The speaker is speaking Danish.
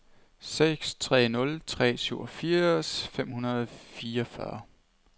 seks tre nul tre syvogfirs fem hundrede og fireogfyrre